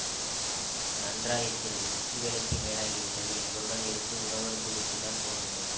நன்றாயிருக்கிறது உச்சி வேளைக்கு மேலாகிவிட்டது எங்களுடன் இருந்து உணவருந்திவிட்டுத்தான் போக வேண்டும்